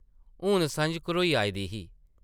हून सʼञ घरोई आई दी ही ।